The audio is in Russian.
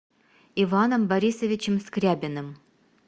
иваном борисовичем скрябиным